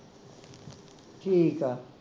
ਠੀਕ ਆ